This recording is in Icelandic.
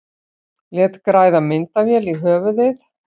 Lét græða myndavél í höfuðið